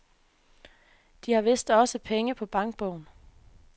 De har vist også penge på bankbogen.